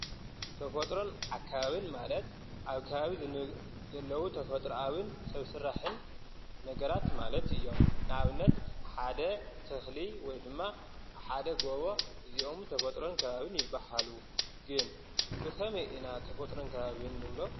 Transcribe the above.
ተፈጥሮን ኣካባብን ማለት ኣብ ካባቢ ዘለዉ ተፈጥኣውን ሰብ ስራሕን ነገራት ማለት እዮም፡፡ ንኣብነት ሓደ ተኽሊ ወይ ድማ ሓደ ጐቦ እዚኦም ተፈጥሮን ከባብን ይብሃሉ፡፡ ግን ብኸመይ ኢና ተፈጥሮን ከባብን ንብሎ?